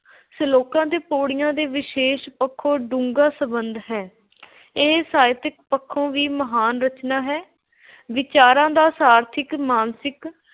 ਸਲੋਕਾਂ ਤੇ ਪਉੜੀਆਂ ਦਾ ਵਿਸ਼ੇ ਪੱਖੋਂ ਡੂੰਘਾ ਸੰਬੰਧ ਹੈ। ਇਹ ਸਾਹਿਤਕ ਪੱਖੋਂ ਵੀ ਮਹਾਨ ਰਚਨਾ ਹੈ। ਵਿਚਾਰਾਂ ਦਾ ਸਾਰਥਿਕ, ਮਾਨਸਿਕ